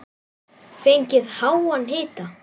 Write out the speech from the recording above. Fengið háan hita.